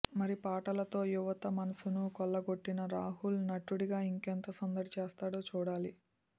మరి పాటలతో యువత మనసును కొల్లగొట్టిన రాహుల్ నటుడిగా ఇంకెంత సందడి చేస్తాడో చూడాలి